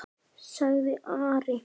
sagði Ari.